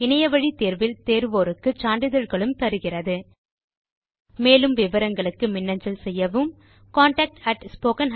இணையவழி பரீட்சையில் தேர்பவர்களுக்கு சான்றிதழ்களும் அளிக்கிறோம் மேலும் தகவல்களுக்கு மின்னஞ்சல் செய்யவும் contactspoken tutorialorg